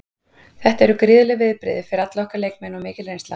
Þetta eru gríðarleg viðbrigði fyrir alla okkar leikmenn og mikil reynsla.